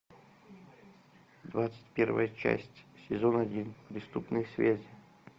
двадцать первая часть сезон один преступные связи